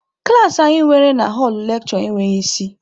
Klaasị anyị nwere na họlụ lekshure enweghị isi.